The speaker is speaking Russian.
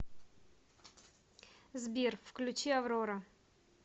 сбер включи аврора